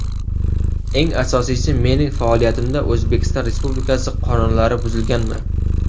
Eng asosiysi mening faoliyatimda O‘zbekiston Respublikasi qonunlari buzilganmi?